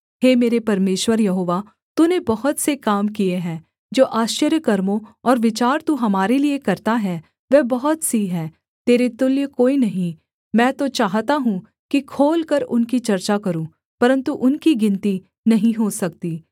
हे मेरे परमेश्वर यहोवा तूने बहुत से काम किए हैं जो आश्चर्यकर्मों और विचार तू हमारे लिये करता है वह बहुत सी हैं तेरे तुल्य कोई नहीं मैं तो चाहता हूँ कि खोलकर उनकी चर्चा करूँ परन्तु उनकी गिनती नहीं हो सकती